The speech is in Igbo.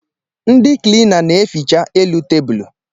Ndị kilina na-eficha elu tabulu